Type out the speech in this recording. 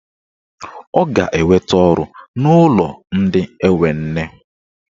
Ọ ga-enweta ọrụ n'ụlọ ndị enwe nne.